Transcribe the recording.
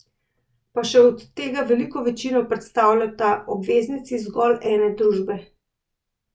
Pa še od tega veliko večino predstavljata obveznici zgolj ene družbe.